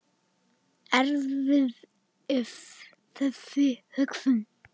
Erfið er þessi hugsun.